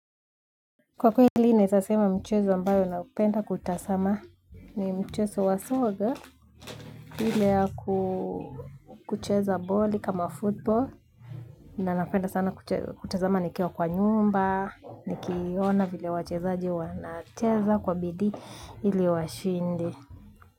Kwa kweli naweza sema mchezo ambayo naupenda kutazama ni mchezo wa soga. Ile ya kucheza boli kama football. Na napenda sana kutazama nikiwa kwa nyumba. Nikiona vile wachezaji wanacheza kwa bidi ili washinde.